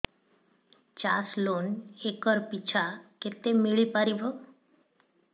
ଚାଷ loan acre ପିଛା କେତେ ମିଳି ପାରିବ